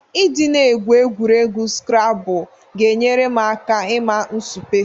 Ị dị na-egwu egwuregwu skrabụl ga-enyere m aka ịma nsupe.